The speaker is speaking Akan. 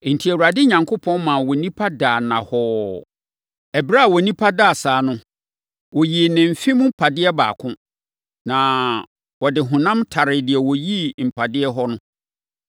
Enti, Awurade Onyankopɔn maa onipa daa nnahɔɔ. Ɛberɛ a onipa daa saa no, ɔyii ne mfe mu mpadeɛ baako, na ɔde honam taree deɛ ɔyii mpadeɛ hɔ no.